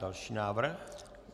Další návrh.